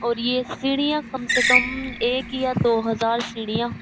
और ये सीढ़िया कम से कम एक या दो हजार सीढ़िया --